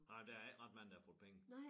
Nej men der ikke ret mange der har fået penge